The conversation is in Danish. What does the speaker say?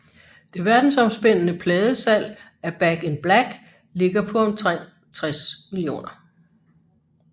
Det verdensomspændende pladesalg af Back in Black ligger på omtrent 60 millioner